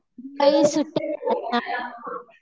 त्यावेळी सुट्या असतात ना.